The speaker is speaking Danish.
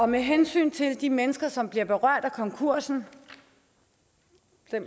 med hensyn til de mennesker som bliver berørt af konkursen er